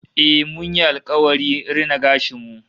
Eh, mun yi alkawari rina gashin mu